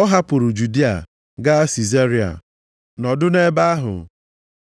ọ hapụrụ Judịa gaa Sizaria nọdụ nʼebe ahụ.